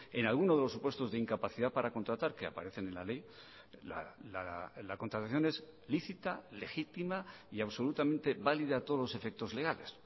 en alguno de los supuestos de incapacidad para contratar que aparecen en la ley la contratación es lícita legítima y absolutamente válida a todos los efectos legales